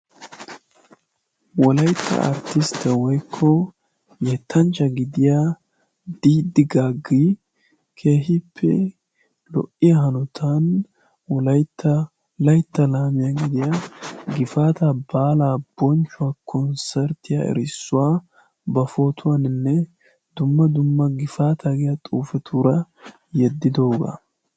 Wolaytta arttistta woykko yettanchcha gidiya diddi gaggi kehippe lo"iya hanotan laytta laytta laamiyaa gidiyaa gifaata baalaa bonchchuwaa konsserttiya erissuwaa ba pootuwaaninne dumma dumma gifaata giya xuufetuura yeddidoogaa.